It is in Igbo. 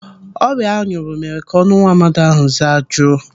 Ọrịa anyụrụ mere ka ọnụ nwaamadi ahụ zajuo.